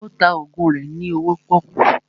Ó ta ògùn rẹ ní owó pọ́kú